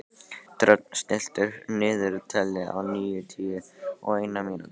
Dröfn, stilltu niðurteljara á níutíu og eina mínútur.